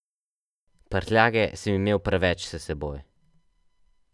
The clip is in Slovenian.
Prtljage sem imel preveč s seboj.